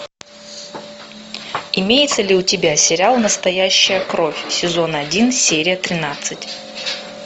имеется ли у тебя сериал настоящая кровь сезон один серия тринадцать